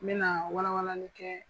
N bɛ na wala walali kɛ